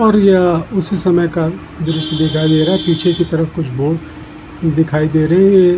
और यह उसी समय का दृश्य दिखाई दे रहा है पीछे की तरफ कुछ बोर्ड दिखाई दे रहें हैं ये |